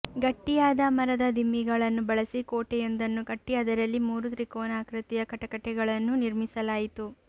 ಗಟ್ಟಿಯಾದ ಮರದ ದಿಮ್ಮಿಗಳನ್ನು ಬಳಸಿ ಕೋಟೆಯೊಂದನ್ನು ಕಟ್ಟಿ ಅದರಲ್ಲಿ ಮೂರು ತ್ರಿಕೋನಾಕೃತಿಯ ಕಟಕಟೆಗಳನ್ನು ನಿರ್ಮಿಸಲಾಯಿತು